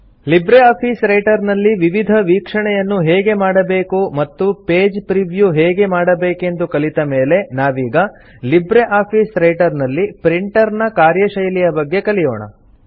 Libre office Writer ನಲ್ಲಿ ವಿವಿಧ ವೀಕ್ಷಣೆಯನ್ನು ಹೇಗೆ ಮಾಡಬೇಕು ಮತ್ತು ಪೇಜ್ ಪ್ರೀವ್ಯೂ ಹೇಗೆ ಮಾಡಬೇಕೆಂದು ಕಲಿತ ಮೇಲೆ ನಾವೀಗ ಲಿಬ್ರೆ ಆಫೀಸ್ ರೈಟರ್ ನಲ್ಲಿ ಪ್ರಿಂಟರ್ ನ ಕಾರ್ಯಶೈಲಿಯ ಬಗ್ಗೆ ಕಲಿಯೋಣ